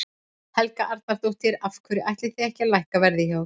Helga Arnardóttir: Af hverju ætlið þið ekki að lækka verð hjá ykkur?